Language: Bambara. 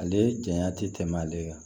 Ale janya ti tɛmɛ ale kan